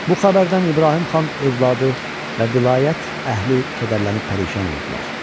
Bu xəbərdən İbrahim xan övladı və vilayət əhli kədərlənib pərişan oldular.